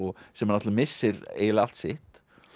sem náttúrulega missir eiginlega allt sitt